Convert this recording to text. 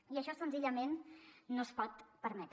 i això senzillament no es pot permetre